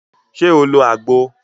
Ṣe o lo agbo?